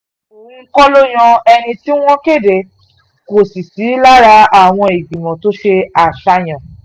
òun kọ́ ló yan ẹni tí wọ́n kéde kò sì sí lára àwọn ìgbìmọ̀ tó ṣe àṣàyàn